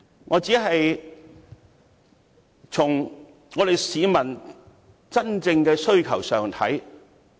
我只是從市民真正的需求來考慮事情。